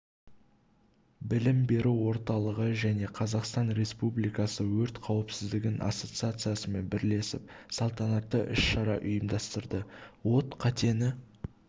білім беру орталығы және қазақстан республикасы өрт қауіпсіздігі ассоциациясымен бірлесіп салтанатты іс-шара ұйымдастырды от қатені